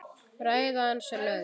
Ræða hans er löng.